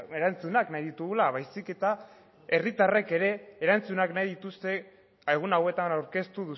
erantzunak nahi ditugula baizik eta herritarrek ere erantzunak nahi dituzte egun hauetan aurkeztu